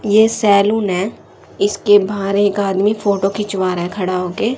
ये सैलून है इसके बाहर एक आदमी फोटो खिंचवा रहा है खड़ा होके--